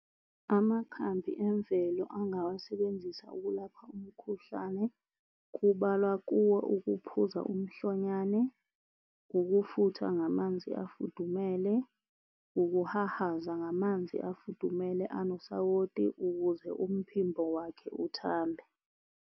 Amakhambi emvelo angawasebenzisa okulapha umkhuhlane kubalwa kuwo ukuphuza umhlonyane, ukufutha ngamanzi afudumele, ukuhahaza ngamanzi afudumele enosawoti ukuze umphimbo wakhe uthambe.